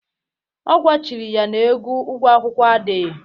Ọ gwachiri ya na ego ụgwo akwụkwụ adịghị.